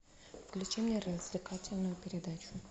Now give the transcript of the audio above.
включи мне развлекательную передачу